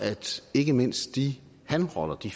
ikke mindst de hanrotter de